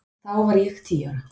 Þá var ég tíu ára.